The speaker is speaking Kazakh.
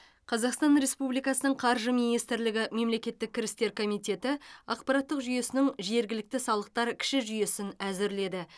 қазақстан республикасының қаржы министрлігі мемлекеттік кірістер комитеті ақпараттық жүйесінің жергілікті салықтар кіші жүйесін әзірледі